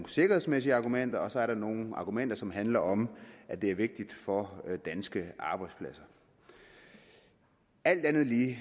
sikkerhedsmæssige argumenter og så er der nogle argumenter som handler om at det er vigtigt for danske arbejdspladser alt andet lige